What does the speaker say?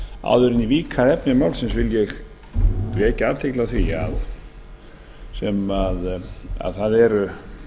áður en ég vík að efni málsins vil ég vekja athygli á því að það eru